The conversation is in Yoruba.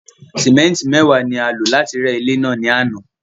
Símétì mẹ́ẹ̀wá ni a rẹ́ ilé àná